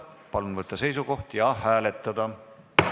Palun võtta seisukoht ja hääletada!